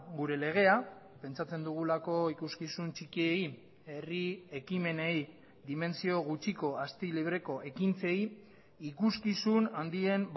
gure legea pentsatzen dugulako ikuskizun txikiei herri ekimenei dimentsio gutxiko asti libreko ekintzei ikuskizun handien